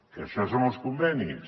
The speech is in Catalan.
i això són els convenis